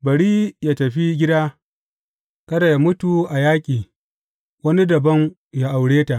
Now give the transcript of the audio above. Bari yă tafi gida, kada yă mutu a yaƙi, wani dabam yă aure ta.